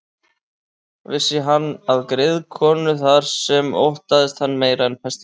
Vissi hann af griðkonu þar sem óttaðist hann meira en pestina.